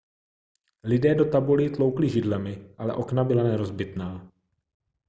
lidé do tabulí tloukli židlemi ale okna byla nerozbitná